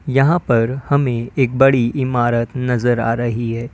यहां पर हमें एक बड़ी इमारत नजर आ रही है।